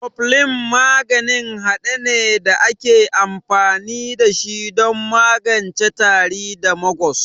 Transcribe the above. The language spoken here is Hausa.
Koflin maganin hade ne da ake amfani da shi don magance tari da magus.